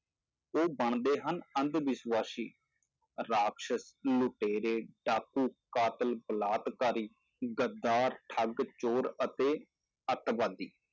ਉਹ ਬਣਦੇ ਹਨ ਅੰਧਵਿਸਵਾਸ਼ੀ, ਰਾਖ਼ਸਸ, ਲੁਟੇਰੇ, ਡਾਕੂ, ਕਾਤਿਲ, ਬਲਾਤਕਾਰੀ, ਗਦਾਰ, ਠੱਗ, ਚੋਰ ਅਤੇ ਆਤੰਕਵਾਦੀ।